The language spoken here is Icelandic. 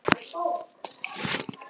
En það gagnast víst lítið.